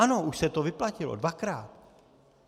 Ano, už se to vyplatilo, dvakrát.